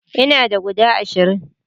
ina da guda ashirin